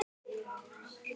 Að klára verkin.